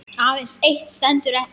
Aðeins eitt stendur eftir.